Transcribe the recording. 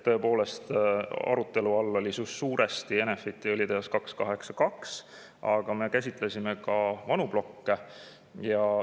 Tõepoolest, arutelu all oli suuresti Enefit 282 õlitehas, aga me käsitlesime ka vanu plokke.